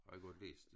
Har jeg godt læst